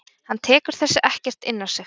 Hann tekur þessi ekkert inn á sig.